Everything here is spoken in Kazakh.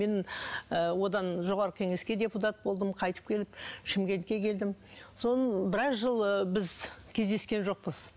мен ы одан жоғарғы кеңеске депутат болдым қайтып келіп шымкентке келдім содан біраз жыл ы біз кездескен жоқпыз